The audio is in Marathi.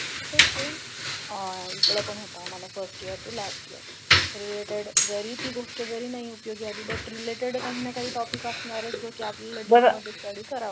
तसेच सेम अह एकडे पण होत फर्स्ट इयर ते लासट इयर रिलेटेड जरी ते गोष्ट जरी नही उपयोगी आली बॅट रिलेटेड काही ना काही टॉपिक असणारच जो की आपनार